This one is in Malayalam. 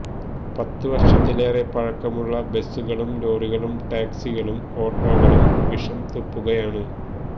പത്തു വർഷത്തിലേറെ പഴക്കമുള്ള ബസുകളും ലോറികളും ടാക്സികളും ഓട്ടോകളും വിഷം തുപ്പുകയാണ്